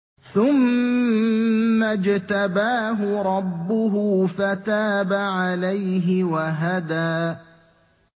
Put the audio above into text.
ثُمَّ اجْتَبَاهُ رَبُّهُ فَتَابَ عَلَيْهِ وَهَدَىٰ